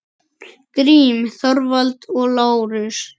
Grím, Þorvald og Lárus.